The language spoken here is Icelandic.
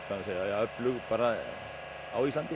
öflug á Íslandi